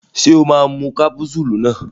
Ṣé o máa lo kápúsúlù náà.